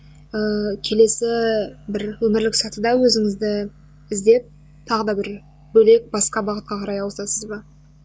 ыыы келесі бір өмірлік сатыда өзіңізді іздеп тағы да бір бөлек басқа бағытқа қарай ауысасыз ба